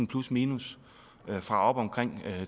plusminus fra oppe omkring